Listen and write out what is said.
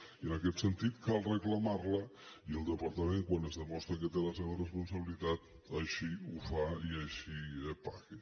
i en aquest sentit cal reclamar la i el departament quan es demostra que té la seva responsabilitat així ho fa i així paga